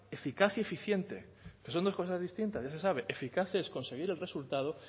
eficaz y eficiente que son dos cosas distintas ya se sabe eficacia es conseguir el resultado